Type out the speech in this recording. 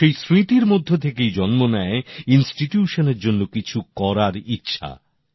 আর সেই স্মৃতির মধ্য থেকেই জন্ম নেয় প্রতিষ্ঠানের জন্য কিছু করার ইচ্ছা